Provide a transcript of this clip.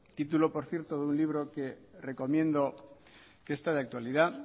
título por cierto de un libro que recomiendo que está de actualidad